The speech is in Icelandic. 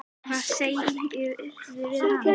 Hvað sagðirðu við hana?